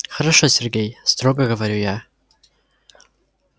хорошо сергей строго говорю я